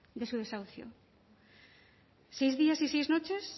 de su deshaucio seis días y seis noches